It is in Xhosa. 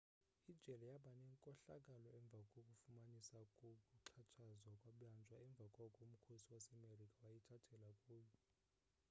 ijele yabanenkohlakalo emva kokufumaniseka kokuxhatshazwa kwebanjwa emva koko umkhosi wasemerika wayithathela kuyo